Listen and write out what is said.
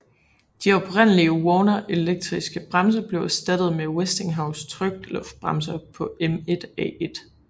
De oprindelige Warner elektriske bremser blev erstattet med Westinghouse trykluftbremser på M1A1